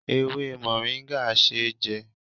Ewé moringa ṣé jẹ